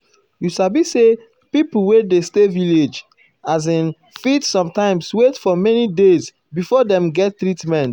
you sabi say pipo wey dey stay village as in fit sometimes wait for many days before dem get treatment.